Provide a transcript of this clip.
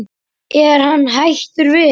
Er hann hættur við?